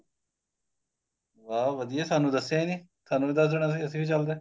ਵਾਹ ਵਧੀਆ ਸਾਨੂੰ ਦੱਸਿਆ ਹੀ ਨਹੀਂ ਸਾਨੂੰ ਵੀ ਦੱਸ ਦੇਣਾ ਸੀ ਅਸੀਂ ਵੀ ਚੱਲਦੇ